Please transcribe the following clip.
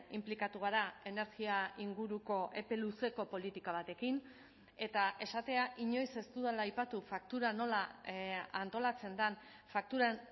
inplikatu gara energia inguruko epe luzeko politika batekin eta esatea inoiz ez dudala aipatu faktura nola antolatzen den fakturan